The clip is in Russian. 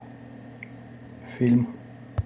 фильм